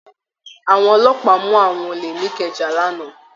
Àwọn ọlọ́pàá mu awọn ole n'ikẹja l'ana.